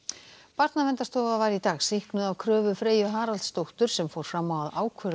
Barnaverndarstofa var í dag sýknuð af kröfu Freyju Haraldsdóttur sem fór fram á að ákvörðun